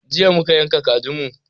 Jiya muka yanka kajin mu